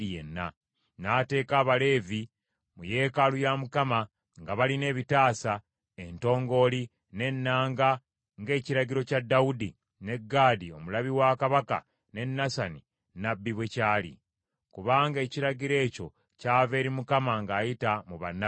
N’ateeka Abaleevi mu yeekaalu ya Mukama nga balina ebitaasa, entongooli, n’ennanga, ng’ekiragiro kya Dawudi, ne Gaadi omulabi wa kabaka ne Nasani nnabbi bwe kyali; kubanga ekiragiro ekyo kyava eri Mukama ng’ayita mu bannabbi be.